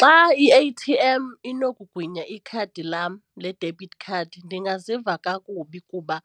Xa i-A_T_M inokugwinya ikhadi lam le-debit card ndingaziva kakubi kuba